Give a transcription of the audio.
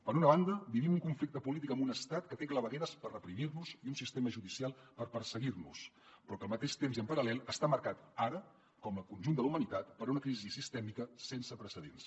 per una banda vivim un conflicte polític amb un estat que té clavegueres per reprimir nos i un sistema judicial per perseguir nos però que al mateix temps i en paral·lel està marcat ara com el conjunt de la humanitat per una crisi sistèmica sense precedents